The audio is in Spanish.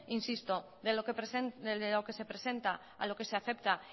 insisto de lo que se presenta a lo que se acepta